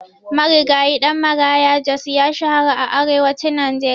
Marigayi Ɗan Maraya Jos ya shahara a arewacin Najeriya.